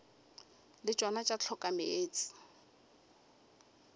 le tšona tša hloka meetse